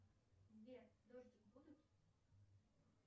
сбер дождик будет